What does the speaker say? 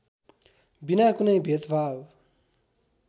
विना कुनै भेदभाव